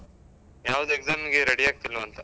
ಯಾವ್ದು exam ಗೆ ready ಆಗ್ತಿಲ್ವಾಂತ?